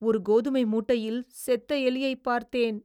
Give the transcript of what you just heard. ஒரு கோதுமை மூட்டையில் செத்த எலியைப் பார்த்தேன்.